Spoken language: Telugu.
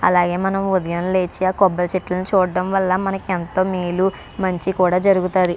అలానే మనం ఉదయం లేచి ఆ కొబ్బరి చెట్లు చూడం వల్లనా మనకి ఎంతో మేలు మంచి కూడా జరుగుతుంది .